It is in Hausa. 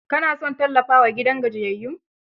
Ka na son tallafawa gidan gajiyayyun?